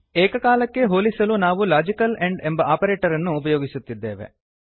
ಏಕಕಾಲಕ್ಕೇ ಹೋಲಿಸಲು ನಾವು logical and ಎಂಬ ಆಪರೇಟರ್ ಅನ್ನು ಉಪಯೋಗಿಸುತ್ತಿದ್ದೇವೆ